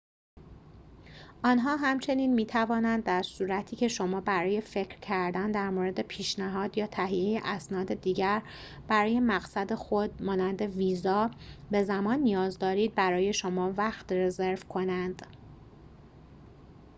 آنها همچنین می توانند در صورتی که شما برای فکر کردن در مورد پیشنهاد یا تهیه اسناد دیگر برای مقصد خود مانند ویزا به زمان نیاز دارید، برای شما وقت رزرو کنند